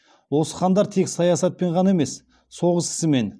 осы хандар тек саясатпен ғана емес соғыс ісімен